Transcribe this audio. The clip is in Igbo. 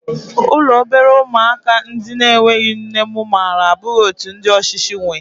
Ụlọ obere ụmụaka ndị na-enweghị nne mụ maara abụghị otú ndị ọchịchị nwee